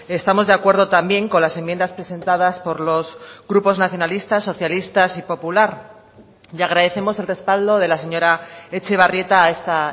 estamos de acuerdo también con las enmiendas presentadas por los grupos nacionalistas socialistas y popular y agradecemos el respaldo de la señora etxebarrieta a esta